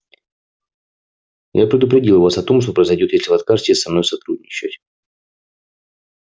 я предупредил вас о том что произойдёт если вы откажетесь со мной сотрудничать